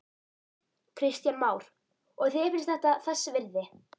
Kristján Már: Og þér finnst þetta þess virði?